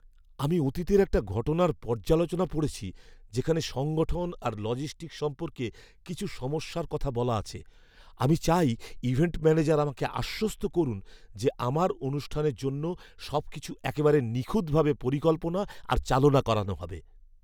আমি অতীতের একটা ঘটনার পর্যালোচনা পড়েছি যেখানে সংগঠন আর লজিস্টিকস সম্পর্কে কিছু সমস্যার কথা বলা আছে। আমি চাই ইভেন্ট ম্যানেজার আমাকে আশ্বস্ত করুন যে আমার অনুষ্ঠানের জন্য সবকিছু একেবারে নিখুঁতভাবে পরিকল্পনা আর চালনা করা হবে।